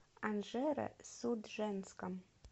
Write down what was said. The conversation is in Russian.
анжеро судженском